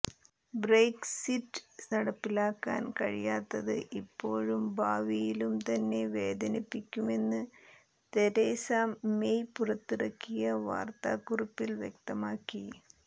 Brexit നടപ്പിലാക്കാൻ കഴിയാത്തത് ഇപ്പോഴും ഭാവിയിലും തന്നെ വേദനിപ്പിക്കുമെന്ന് തെരേസ മെയ് പുറത്തിറക്കിയ വാർത്താ കുറിപ്പിൽ വ്യക്തമാക്കി